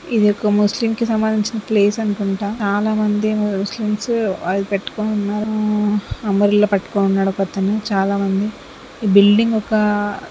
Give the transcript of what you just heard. ఇది ఒక ముస్లిం కి సంబంధించిన ప్లేస్ అనుకుంటా. చాలామంది ముస్లిమ్స్ అది పెట్టుకుని ఉన్నారు. అంబ్రెల్లా పట్టుకుని ఉన్నాడు ఒకతను. చాలామంది ఈ బిల్డింగ్ ఒక--